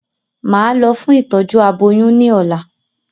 Màá lọ fún ìtọ́jú aboyún ní ọ̀la